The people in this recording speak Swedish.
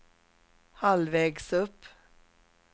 halvvägs upp